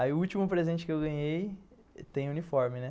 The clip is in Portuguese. Aí o último presente que eu ganhei, tem uniforme, né?